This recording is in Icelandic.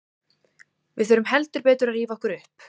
Við þurfum heldur betur að rífa okkur upp.